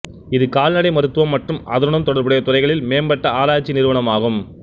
இது கால்நடை மருத்துவம் மற்றும் அதனுடன் தொடர்புடைய துறைகளில் மேம்பட்ட ஆராய்ச்சி நிறுவனமாகும்